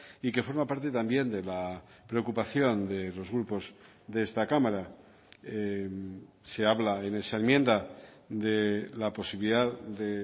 y que forma parte también de la preocupación de los grupos de esta cámara se habla en esa enmienda de la posibilidad de